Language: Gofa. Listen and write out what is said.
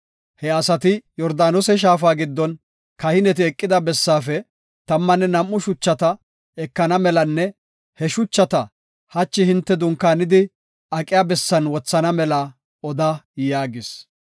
He asati Yordaanose shaafa giddon kahineti eqida bessaafe tammanne nam7u shuchata ekana melanne he shuchata hachi hinte dunkaanidi aqiya bessan wothana mela oda” yaagis.